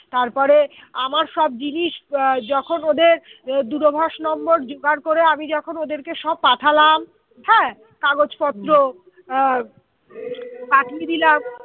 তারপরে আমার সব জিনিস আহ যখন ওদের দূরভাষ number জোগাড় করে আমি যখন ওদেরকে সব পাঠালাম হ্যাঁ হম কাগজপত্র পাঠিয়ে দিলাম